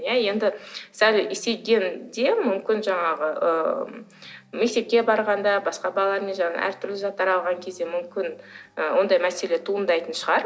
иә енді сәл есейгенде мүмкін жаңағы ы мектепке барғанда басқа балалармен жаңағы әртүрлі заттар алған кезде мүмкін і ондай мәселе туындайтын шығар